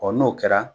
n'o kɛra